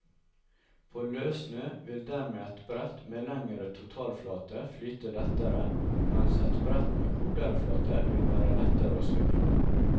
På løssnø vil dermed et brett med lengre totalflate flyte lettere, mens et brett med kortere flate vil være lettere å svinge med.